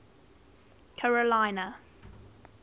carolina